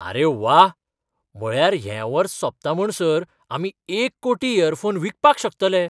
आरे वा ! म्हळ्यार हें वर्स सोंपता म्हणसर आमी एक कोटी इयरफोन विकपाक शकतले!